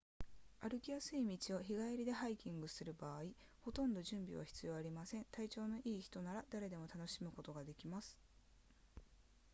歩きやすい道を日帰りでハイキングする場合ほとんど準備は必要ありません体調の良い人なら誰でも楽しむことができます